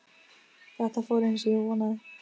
Þetta fór eins og ég vonaði